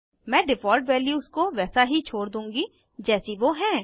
मैं default values को वैसा ही छोड़ दूँगी जैसी वो हैं